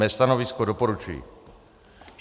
Mé stanovisko doporučuji.